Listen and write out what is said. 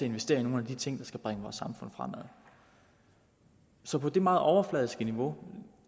investere i nogle af de ting der skal bringe vores samfund fremad så på det meget overfladiske niveau